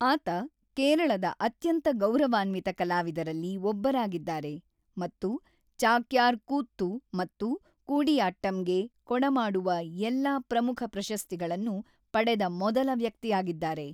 ಆತ ಕೇರಳದ ಅತ್ಯಂತ ಗೌರವಾನ್ವಿತ ಕಲಾವಿದರಲ್ಲಿ ಒಬ್ಬರಾಗಿದ್ದಾರೆ ಮತ್ತು ಚಾಕ್ಯಾರ್ ಕೂತ್ತು ಮತ್ತು ಕೂಡಿಯಾಟ್ಟಂಗೆ ಕೊಡಮಾಡುವ ಎಲ್ಲಾ ಪ್ರಮುಖ ಪ್ರಶಸ್ತಿಗಳನ್ನು ಪಡೆದ ಮೊದಲ ವ್ಯಕ್ತಿಯಾಗಿದ್ದಾರೆ.